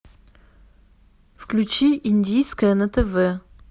включи индийское на тв